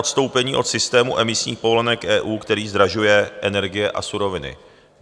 Odstoupení od systému emisních povolenek EU, který zdražuje energie a suroviny.